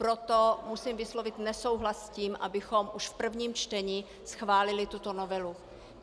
Proto musím vyslovit nesouhlas s tím, abychom už v prvním čtení chválili tuto novelu.